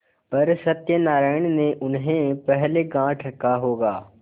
पर सत्यनारायण ने उन्हें पहले गॉँठ रखा होगा